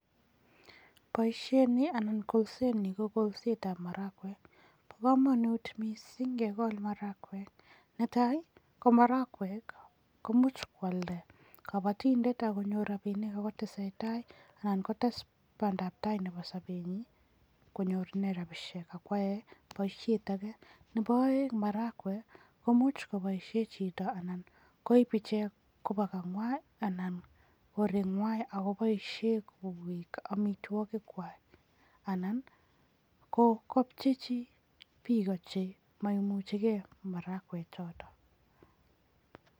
Boisiet ni anan kolsoni ko kolsetab marakwek, bo kamanut mising kekol marakwek ne tai, ko marakwek komuch kwalda kabatindet ak konyor rapinik ako tesetai anan kotes bandaptai nebo sobenyin konyor inee rapishek ak kwae boisiet ake. Nebo aeng, marakwek komuch kopoishe chito anan koip ichek koba kangwai anan korengwai ako poishe ichek koek amitwokikwai anan kopcheichi biiko chemaimuchike marakwek choto.